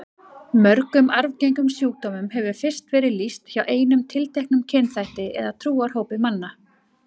Mörgum arfgengum sjúkdómum hefur fyrst verið lýst hjá einum tilteknum kynþætti eða trúarhópi manna.